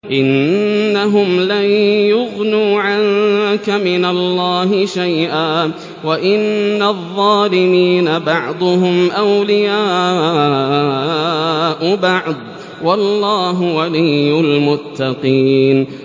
إِنَّهُمْ لَن يُغْنُوا عَنكَ مِنَ اللَّهِ شَيْئًا ۚ وَإِنَّ الظَّالِمِينَ بَعْضُهُمْ أَوْلِيَاءُ بَعْضٍ ۖ وَاللَّهُ وَلِيُّ الْمُتَّقِينَ